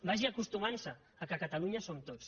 vagi acostumant se al fet que catalunya som tots